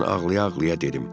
Mən ağlaya-ağlaya gedim.